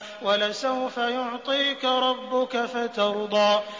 وَلَسَوْفَ يُعْطِيكَ رَبُّكَ فَتَرْضَىٰ